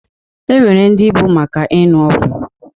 E nwere ndị bụ maka inụ ọgụ.